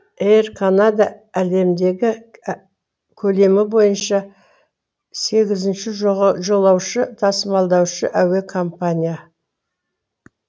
эйр канада әлемдегі көлемі бойынша сегізінші жолаушы тасымалдаушы әуе компания